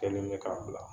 Kelen bɛ k'a bila